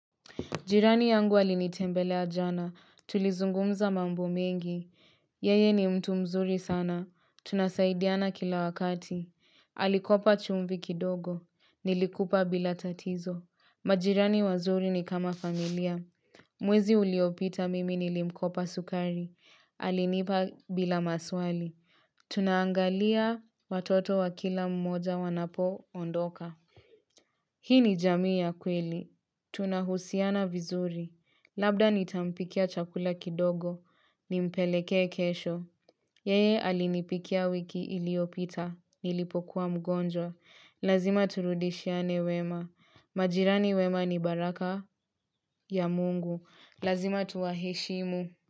Jirani yangu alinitembelea jana, tulizungumza mambo mengi, yeye ni mtu mzuri sana, tunasaidiana kila wakati, alikopa chumvi kidogo, nilikupa bila tatizo, majirani wazuri ni kama familia, mwezi uliopita mimi nilimkopa sukari, alinipa bila maswali, tunaangalia watoto wa kila mmoja wanapo ondoka. Hii ni jamii ya kweli. Tunahusiana vizuri. Labda nitampikia chakula kidogo. Nimpelekee kesho. Yeye alinipikia wiki iliopita. Nilipokuwa mgonjwa. Lazima turudishiane wema. Majirani wema ni baraka ya mungu. Lazima tuwaheshimu.